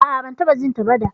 A'a, ban taɓa jinta ba da.